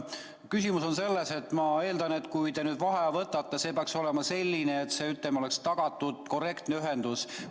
Küsimus on selles, et ma eeldan, et kui te nüüd vaheaja võtate, siis see peaks olema selline, et oleks tagatud korrektne ühendus.